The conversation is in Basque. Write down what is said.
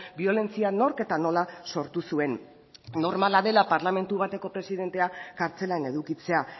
biolentzia nork eta nola sortu zuen normala dela parlamentu bateko presidentea kartzelan edukitzea